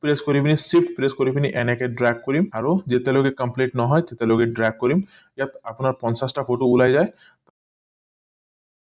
কৰি পিনি press shift কৰি পিনি এনেকে dark কৰিম আৰু এতিয়া লৈকে complete নহয় তেতিয়া লৈকে dark কৰিম ইয়াত আপোনাৰ পঞ্চাছটা photo ওলাই যায়